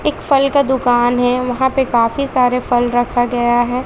एक फल का दुकान है वहां पे काफी सारे फल रखा गया है।